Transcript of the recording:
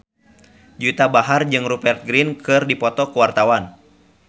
Juwita Bahar jeung Rupert Grin keur dipoto ku wartawan